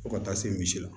Fo ka taa se misi la